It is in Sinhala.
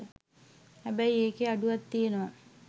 හැබැයි ඒකෙ අඩුවක් තියනව.